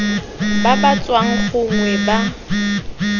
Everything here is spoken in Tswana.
ba ba tswang gongwe ba